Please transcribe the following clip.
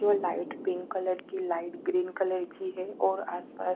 जो light pink colour की light green colour की है और आसपास--